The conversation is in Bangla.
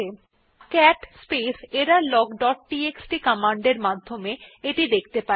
আমরা cat space error log dot TXT command এর মাধ্যমে এটি দেখতে পারি